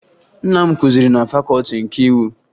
Nna m kụziri na Fakọọti nke Iwu